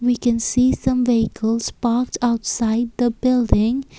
we can see some vehicles parked outside the building.